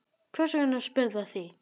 Hvers vegna spyrðu að því?